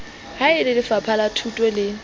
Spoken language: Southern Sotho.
ha e lelefapha lathuto le